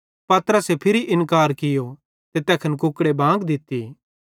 पतरसे फिरी इन्कार कियो ते तैखन कुकड़े भी बांग दित्ती